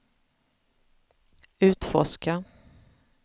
utforska